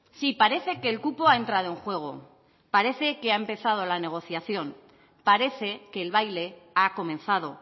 sí parece que el cupo ha entrado en juego parece que ha empezado la negociación parece que el baile ha comenzado